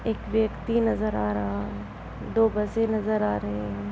एक व्यक्ति नज़र आ रहा है| दो बसें नज़र आ रही है।